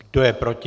Kdo je proti?